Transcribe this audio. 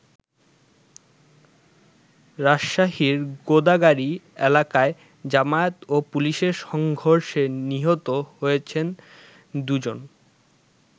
রাজশাহীর গোদাগাড়ী এলাকায় জামায়াত ও পুলিশের সংঘর্ষে নিহত হয়েছেন দু'জন।